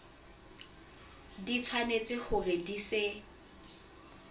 di tshwanetse hore di se